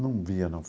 Não via, não.